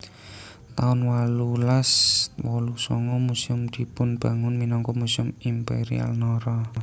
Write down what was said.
taun wolulas wolu sanga Museum dipunbangun minangka Museum Imperial Nara